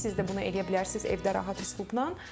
Siz də bunu eləyə bilərsiz evdə rahat üslubnan.